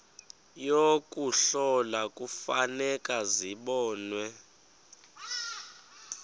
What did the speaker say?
yokuhlola kufuneka zibonwe